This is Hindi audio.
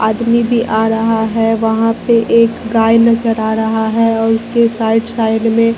आदमी भी आ रहा है वहां पे एक गाय नजर आ रहा है और उसके साइड साइड में--